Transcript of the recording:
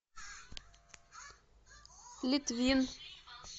литвин